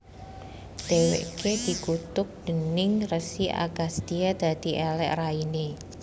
Dheweke dikutuk déning Resi Agastya dadi elek raine